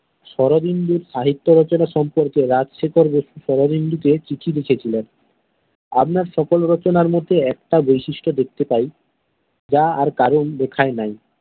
শরদিন্দুর সাহিত্য রচনার সম্পর্কে রাজ্ শেখর বসু শরদিন্দুকে চিঠি লিখেছিলেন আপনার সকল রচনার মধ্যে একটা বৈশিষ্ট দেখতে পাই যা আর কারোর লেখায় নাই।